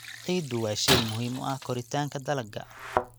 Ciiddu waa shay muhiim u ah koritaanka dalagga.